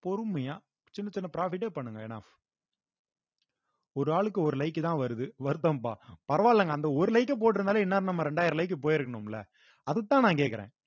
பொறுமையா சின்னச் சின்ன profit ஏ பண்ணுங்க enough ஒரு ஆளுக்கு ஒரு like தான் வருது வருத்தம்பா பரவாயில்லைங்க அந்த ஒரு like அ போட்டிருந்தாலே இந்நேரம் நம்ம இரண்டாயிரம் like போயிருக்கணும்ல அதத்தான் நான் கேட்கிறேன்